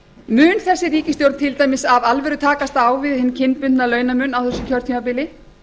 mun þessi ríkisstjórn til dæmis af alvöru takast á við hinn kynbundna launamun á þessu kjörtímabili